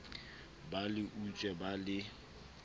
ba le utswe ba le